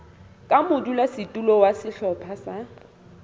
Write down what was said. ka modulasetulo wa sehlopha sa